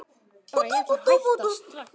Bara strax.